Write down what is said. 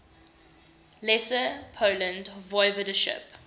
lesser poland voivodeship